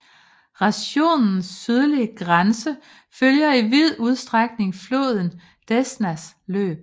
Rajonens sydlige grænse følger i vid udstrækning floden Desnas løb